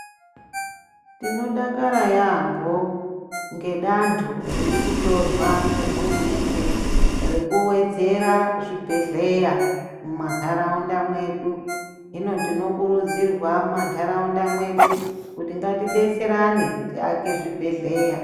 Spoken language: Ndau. Tinodakara yampho ngedanto riri kutorwa ngehurumende rekuwedzera zvibhedhleya mumantaraunda mwedu hino tinokurudzirwa mumantaraunda mwedu kuti ngatidetserana tiake zvibhedhleya.